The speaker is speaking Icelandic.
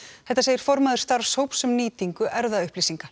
þetta segir formaður starfshóps um nýtingu erfðaupplýsinga